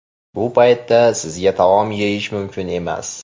Bu paytda sizga taom yeyish mumkin emas.